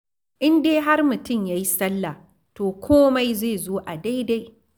In dai har mutum ya yi salla, to komai zai zo a daidai.